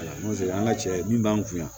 N'o tɛ an ka cɛ min b'an kun yan